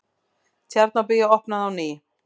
Tjarnarbíó opnað á ný